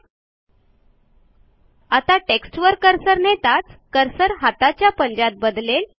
आता जेव्हा आपण ह्या टेक्स्टवर कर्सर नेऊ तेव्हा कर्सर हाताच्या पंजात बदलेल